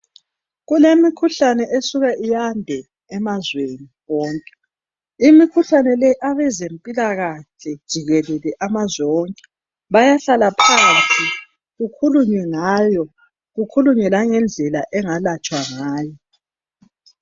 Kulemikhuhlane esuka iyande emazweni wonke. Imikhuhlane le abezempilakahle jikelele amazwe onke bayahlala phansi kukhulunywe ngayo, kukhulunywe langendlela engalatshwa ngayo